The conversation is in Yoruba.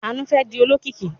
Àánú fẹ́ di olókìkí.